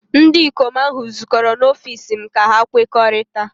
ndị ikom ahụ zukọrọ n'ọfịs m ka ha kwekọrịta